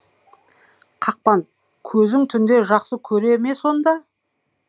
қақпан көзің түнде жақсы көре ме сонда